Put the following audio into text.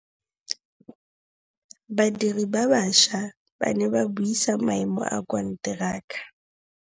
Badiri ba baša ba ne ba buisa maêmô a konteraka.